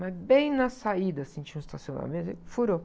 Mas bem na saída, assim, tinha um estacionamento, aí, furou.